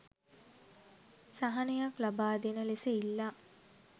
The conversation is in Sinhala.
සහනයක් ලබා දෙන ලෙස ඉල්ලා